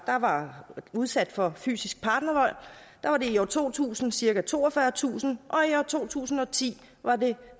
der var udsat for fysisk partnervold i år to tusind var cirka toogfyrretusind og i år to tusind og ti var